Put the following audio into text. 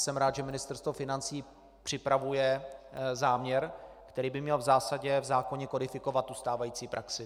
Jsem rád, že Ministerstvo financí připravuje záměr, který by měl v zásadě v zákoně kodifikovat stávající praxi.